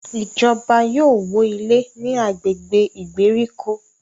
Ìjọba yóò wọ ilé ní agbègbè ìgbèríko